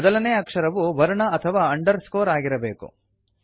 ಮೊದಲನೇ ಅಕ್ಷರವು ವರ್ಣ ಅಥವಾ ಅಂಡರ್ಸ್ಕೋರ್ ಆಗಿರಬೇಕು